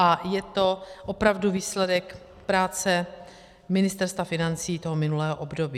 A je to opravdu výsledek práce Ministerstva financí toho minulého období.